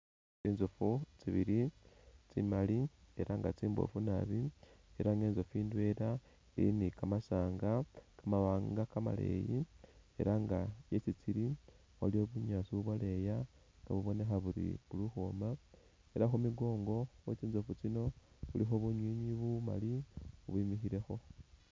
Tsinzofu tsibili tsimali ela nga tsimboofu nabi ela nga inzofu ndwela ili ni kamasaanga kamawanga kamaleeyi ela nga isi tsili waliyo bunyaasi ubwaleya bubonekha buli ukhwoma ela nga khu mikoongo khwe tsinzofu tsino khulikho bunywinywi bumali ubwimikhilekho.